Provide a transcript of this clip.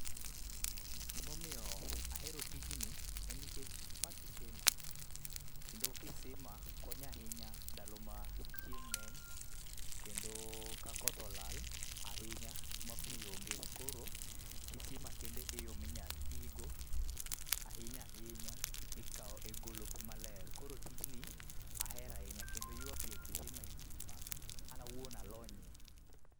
Gima omiyo ahero tijni, en nikech, ma kisima. Kendo kisima konyo ahinya ndalo ma chieng' ng'eny, kendo ka koth olal ahinya, ma pi onge. Koro kisima kende e yo minyalo ti go ahinya ahinya, e kawo, e golo pi maler. Koro tijni, ahero ahinya, kendo golo pi e kisima en tich ma an awuon alonye.